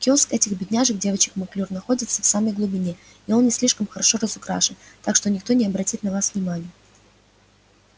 киоск этих бедняжек девочек маклюр находится в самой глубине и он не слишком хорошо разукрашен так что никто и не обратит на вас внимания